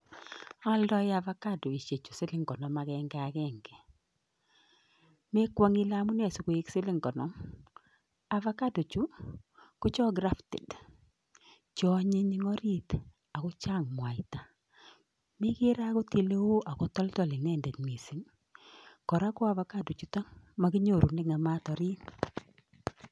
Aaldoi avocadoisiechu siling konoom agenge, mi kwong kole amune si koik siling konoom, avocado chu ko chon crafted ,chon anyiny en oriit akochang mwaita.Me kere okot Ile toldool inendet missing i,kora ko avocado chutok komakinyoru kokaam toriit